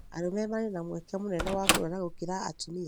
arũme marĩ na mweke mũnene wa kũrwara gũkĩra atumia